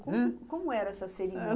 ãh? Como era essa cerimônia?